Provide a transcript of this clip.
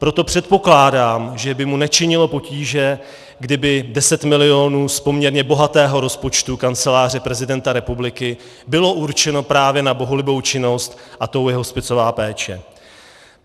Proto předpokládám, že by mu nečinilo potíže, kdyby 10 mil. z poměrně bohatého rozpočtu Kanceláře prezidenta republiky bylo určeno právě na bohulibou činnost, a tou je hospicová péče.